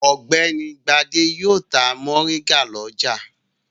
Ọ̀gbẹ́ni Gbadé yóò ta mòríngà lọ́jà.